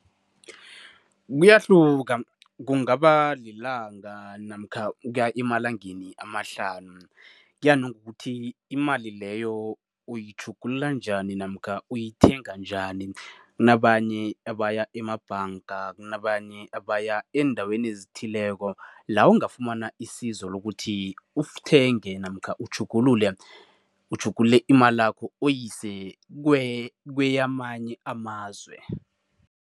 Kuyahluka, kungaba lilanga namkha ukuya emalangeni amahlanu, kuya nokuthi imali leyo uyitjhugulula njani namkha uyithenga njani. Kunabanye abaya emabhanga, kunabanye abaya eendaweni ezithileko la ungafumana isizo lokuthi uthenge namkha utjhugulule utjhugulule imalakho uyise kweyamanye amazwe.